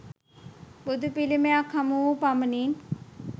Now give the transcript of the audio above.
බුදු පිළිමයක් හමුවූ පමණින්